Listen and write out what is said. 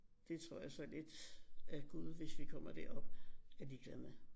Det tror jeg så lidt at Gud hvis vi kommer derop er ligeglad med